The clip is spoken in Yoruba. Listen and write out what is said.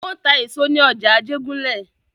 Wọ́n ta èso nà ní ọjà Ajégúnlẹ̀.